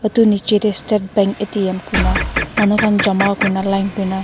edu nichae tae state bank A_T_M kuna manu khan jama kurina line kurna.